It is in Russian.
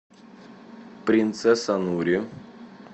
принцесса нури